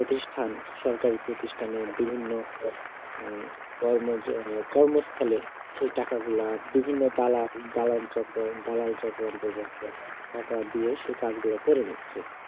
প্রতিষ্ঠান সরকারি প্রতিষ্ঠানে বিভিন্ন উম কর্ম~কর্মস্থলে সেই টাকাগুলা বিভিন্ন দালা~দালাল চক্র দালালচক্র টাকা দিয়ে সেই কাজগুলো করে নিচ্ছে